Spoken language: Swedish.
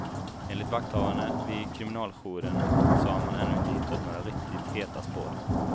Enligt vakthavande vid kriminaljouren så har man ännu inte hittat några riktigt heta spår.